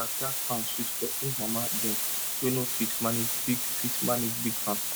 backyard farm sweet for old mama dem wey no fit manage big fit manage big farm